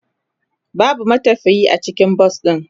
Babu matafiye a cikin bas din.